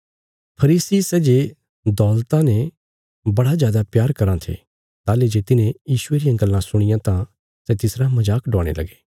फरीसी सै जे दौलता ने बड़ा जादा प्यार कराँ थे ताहली जे तिन्हें यीशुये रियां गल्लां सुणियां तां सै तिसरा मजाक डवाणे लगे